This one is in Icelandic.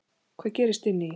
Hvað gerist inni í því?